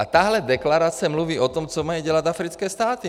A tahle deklarace mluví o tom, co mají dělat africké státy.